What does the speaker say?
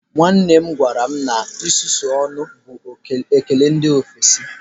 Nwanne m gwara m na isusu ọnụ bụ ụdị ekele ndị ofesi